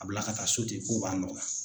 A bila ka taa so ten ko b'a nɔgɔya.